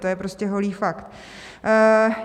To je prostě holý fakt.